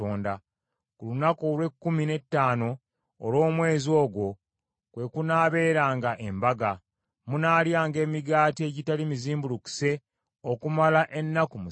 Ku lunaku olw’ekkumi n’ettaano olw’omwezi ogwo kwe kunaabeeranga embaga; munaalyanga emigaati egitali mizimbulukuse okumala ennaku musanvu.